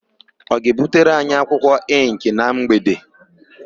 Ọ ga-ebutere anyị ịnkị na mgbede?